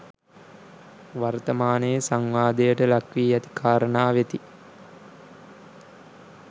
වර්ථමානයේ සංවාදයට ලක්වී ඇති කාරණා වෙති